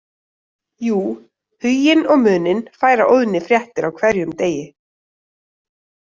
Jú, Huginn og Muninn færa Óðni fréttir á hverjum degi